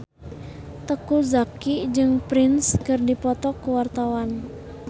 Teuku Zacky jeung Prince keur dipoto ku wartawan